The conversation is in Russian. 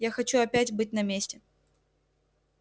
я хочу опять быть на месте